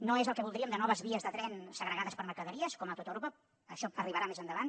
no és el que voldríem de noves vies de tren segregades per a mercaderies com a tot europa això arribarà més endavant